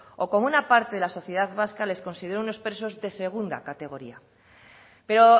o cómo una parte de la sociedad vasca les consideró unos presos de segunda categoría pero